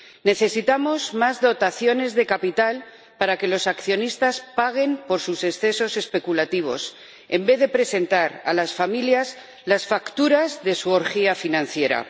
Necesitamos más dotaciones de capital para que los accionistas paguen por sus excesos especulativos, en vez de presentar a las familias las facturas de su orgía financiera.